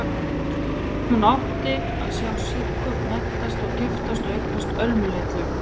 Hún átti að sjá Siggu menntast og giftast og eignast Ölmu litlu.